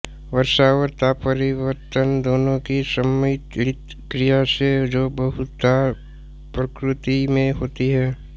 वर्षा और तापपरिवर्तन दोनों की सम्मिलित क्रिया से जो बहुधा प्रकृति में होती है